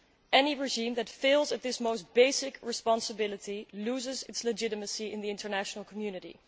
Any regime that fails at this most basic responsibility loses its legitimacy in the international community.